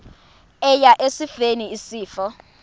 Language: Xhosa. eya esifeni isifo